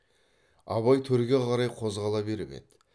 абай төрге қарай қозғала беріп еді